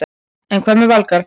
En hvað með Valgarð?